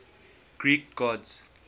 greek gods